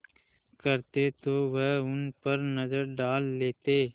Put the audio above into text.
करते तो वह उन पर नज़र डाल लेते